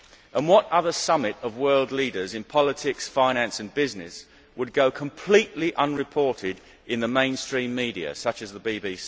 And what other summit of world leaders in politics, finance and business would go completely unreported in the mainstream media, such as the BBC?